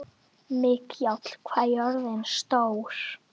Mikjáll, hvað er jörðin stór?